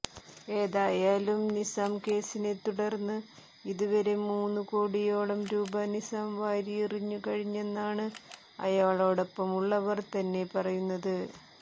ഏതായാലും നിസാം കേസിനെത്തുടർന്ന് ഇതുവരെ മൂന്നുകോടിയോളം രൂപ നിസാം വാരിയെറിഞ്ഞു കഴിഞ്ഞെന്നാണ് അയാളോടടുപ്പമുള്ളവർ തന്നെ പറയുന്നത്